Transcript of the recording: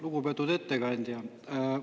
Lugupeetud ettekandja!